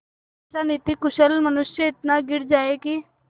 ऐसा नीतिकुशल मनुष्य इतना गिर जाए कि